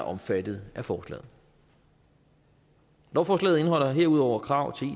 omfattet af forslaget lovforslaget indeholder herudover krav